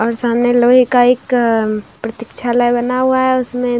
और सामने लोहे का एक प्रतीक्षालाय बना हुआ है उसमे --